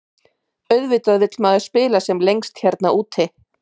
Auðvitað vill maður spila sem lengst hérna úti.